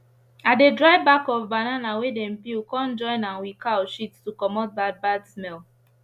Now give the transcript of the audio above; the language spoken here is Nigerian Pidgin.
i dey dry back of banana wey dem peel con join am with cow shit to comot bad smell small